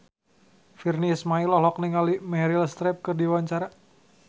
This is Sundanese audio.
Virnie Ismail olohok ningali Meryl Streep keur diwawancara